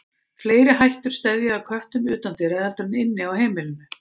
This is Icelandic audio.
Fleiri hættur steðja að köttum utandyra heldur en inni á heimilinu.